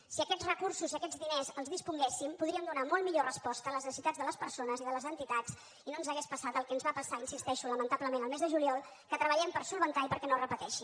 si aquests recursos i d’aquests diners en disposéssim podríem donar molt millor resposta a les necessitats de les persones i de les entitats i no ens hauria passat el que ens va passar hi insisteixo lamentablement el mes de juliol que treballem per solucionar i perquè no es repeteixi